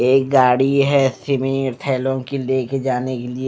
एक गाड़ी है थैलों की लेके जाने के लिए--